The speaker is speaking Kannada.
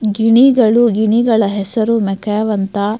ಗಿಣಿಗಳು ಗಿಣಿಗಳ ಹೆಸರು ಮೆಕ್ಯಾವ್ ಅಂತ.